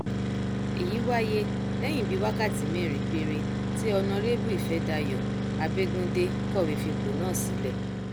èyí wáyé lẹyìn bíi wákàtí mẹrin péré tí ọnàrẹbù ìfẹdàyò abẹgundé kọwé fipò náà sílẹ